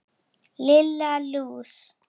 Lilla lús!